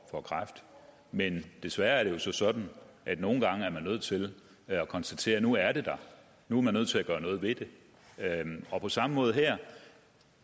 kræft men desværre er det sådan at nogle gange er man nødt til at konstatere at nu er det der nu er man nødt til at gøre noget ved det på samme måde her